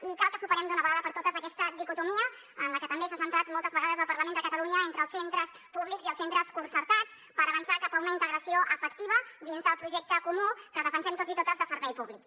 i cal que superem d’una vegada per totes aquesta dicotomia en la que també s’ha centrat moltes vegades el parlament de catalunya entre els centres públics i els centres concertats per avançar cap a una integració efectiva dins del projecte comú que defensem tots i totes de servei públic